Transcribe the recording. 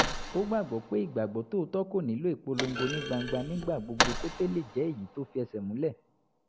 ó gbàgbọ́ pé ìgbàgbọ́ tòótọ́ kò nílò ìpolongo ní gbangba nígbà gbogbo kó tó lè jẹ́ èyí tó fẹ́sẹ̀múlẹ̀